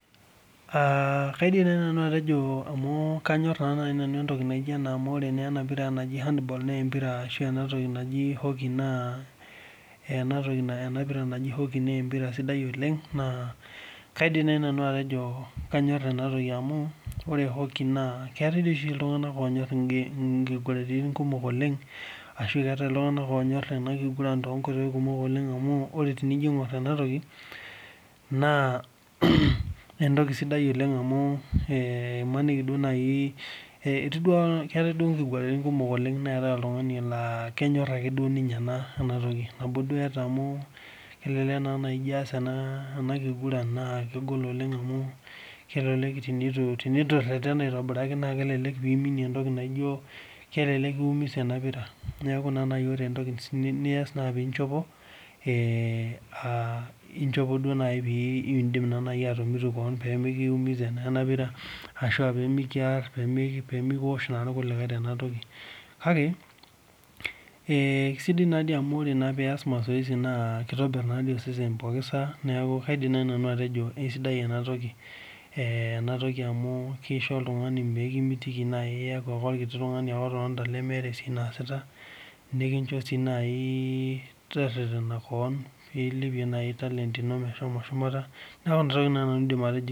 kaidim naaji nanu atejo amu kanyor naa nanuamu ore naa ena toki naaji hand ball ashu ena naji hockey naa empira sidai oleng naa kaidim naaji nanu atejo kanyor amu ore hockey naa keetae oshi iltung'ana onyori enkiguratin kumok oleng ashu keetae iltung'ana onyor ena kiguranit kumok oleng arashu keetae iltung'ana onyor ena kiguran too nkoitoi kumok oleng amu tenijo aing'or ena toki naa entoki sidai oleng amu emaniki naaji keetae duo enkiguranitin kumok neetae oltung'ani laa kenyor ake duo ake ninye ena toki nabo duo etaa kelelek ijio aas ena kiguran naa kegol oleng amu teneitu eretena oleng naa kelelek kiumiza ena pira neeku ore entoki nias naa pinjopo pidim atomitu keon pee mikiumisa ena pira ashuu pee mikiosh naa irkulikae Tena toki kake kaisidai naa amu ore pias mazoezi naa kitobir osesen neeku kaidim naaji nanu atejo kaisidai ena toki amu nkishu oltung'ani mikimitiki naaji eyaku orkiti tung'ani ake lemeeta entoki naasitanikincho sii naaji tererena keon pilipie naaji talent ino mehomo shumata neeku Nena tokitin naaji nanu aidim atejo